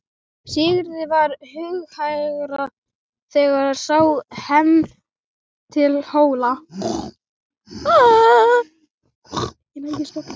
Sigurði varð hugarhægra þegar sá heim til Hóla.